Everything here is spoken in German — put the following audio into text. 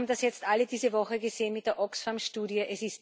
Wir haben das jetzt alle diese Woche gesehen mit der Oxfam Studie.